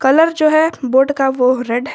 colour जो है board का वो रेड --